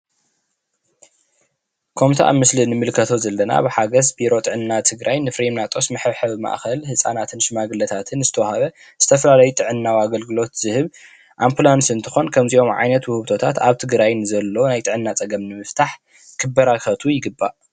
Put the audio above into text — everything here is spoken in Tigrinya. ከምቲ ኣብ ምስሊ እንምልከቶ ዘለና ብሓገዝ ቢሮ ጥዕና ትግራይ ንፍሪሚናጦስ መሐብሐቢ ማእከል ህፃናትን ሽማግለታት ዝተወሃበ ዝተፈላለዩ ጥዕናዊ ኣገልግሎት ዝህብ ኣምፕላንስ እንትኮን ከምዚኦም ዓይነት ውህብቶታት ኣብ ትግራይ ንዘሎ ናይ ጥዕና ፀገም ንምፍታሕ ክበራከቱ ይግባእ፡፡